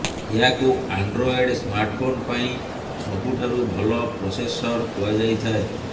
ଏହାକୁ Android smartphone ପାଇଁ ସବୁଠାରୁ ଭଲ ପ୍ରୋସେସର କୁହାଯାଇଥାଏ